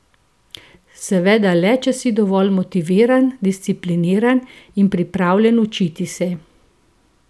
Seveda le, če si dovolj motiviran, discipliniran in pripravljen učiti se.